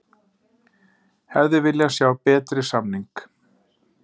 Hefði viljað sjá betri samning